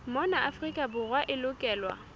mona afrika borwa e lokelwa